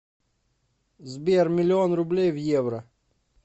сбер миллион рублей в евро